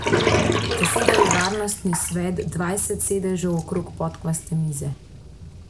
Zasedal je Varnostni svet, dvajset sedežev okrog podkvaste mize.